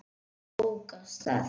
Hann ók af stað.